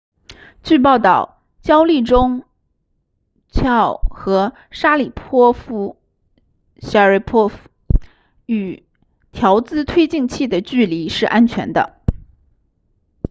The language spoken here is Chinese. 据报告焦立中 chiao 和沙里波夫 sharipov 与调姿推进器的距离是安全的